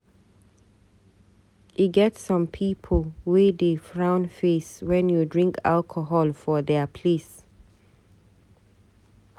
E get some people wey dey frown face wen you drink alcohol for their place.